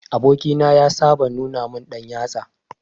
Aboki na ya saba nuna min dan yatsa.